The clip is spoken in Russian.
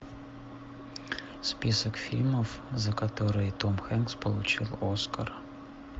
список фильмов за которые том хэнкс получил оскар